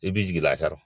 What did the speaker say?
I b'i jigila a kan